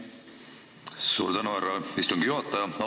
Suur tänu, härra istungi juhataja!